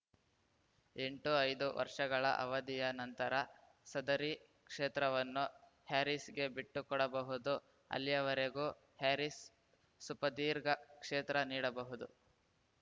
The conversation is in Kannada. ಎಂಟು ಐದು ವರ್ಷಗಳ ಅವಧಿಯ ನಂತರ ಸದರಿ ಕ್ಷೇತ್ರವನ್ನು ಹ್ಯಾರೀಸ್‌ಗೆ ಬಿಟ್ಟುಕೊಡಬಹುದು ಅಲ್ಲಿಯವರೆಗೂ ಹ್ಯಾರೀಸ್‌ ಸುಪಧೀರ್ಘ ಕ್ಷೇತ್ರ ನೀಡಬಹುದು